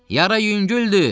Yara yüngüldür!